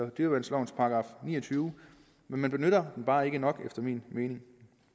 dyreværnslovens § ni og tyve men man benytter den bare ikke nok efter min mening